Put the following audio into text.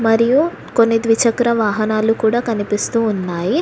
మరియు కొన్ని ద్విచక్ర వాహనాలు కూడా కనిపిస్తూ ఉన్నాయి.